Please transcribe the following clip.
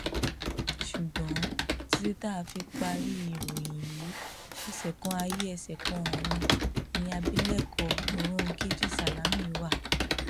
ṣùgbọn títí tá a fi parí ìròyìn yìí ẹsẹ kan ayé ẹsẹ kan ọrun ni abilékọ mòròunkejì sálámí wà